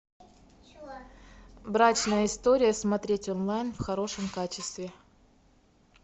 брачная история смотреть онлайн в хорошем качестве